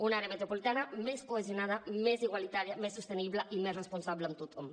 un àrea metropolitana més cohesionada més igualitària més sostenible i més responsable amb tothom